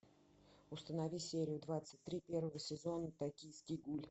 установи серию двадцать три первого сезона токийский гуль